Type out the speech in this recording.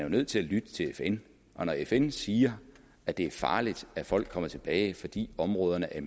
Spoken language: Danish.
nødt til at lytte til fn og når fn siger at det er farligt at folk kommer tilbage fordi områderne er